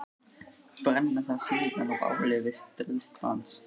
Brenna það síðan á báli við stríðsdans.